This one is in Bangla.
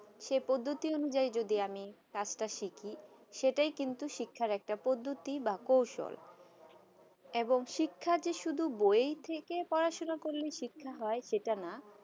সেই পদ্ধতি অনুযায়ী যদি আমি কাজটা শিখি সেটা কিন্তু শিক্ষা একটা পদ্ধতি বা কৌশল এবং শিক্ষা কি শুধু বই থেকে পড়াশুনা করলে শিক্ষা হয় সেটা নয়